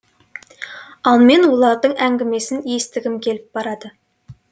ал мен олардың әңгімесін естігім келіп барады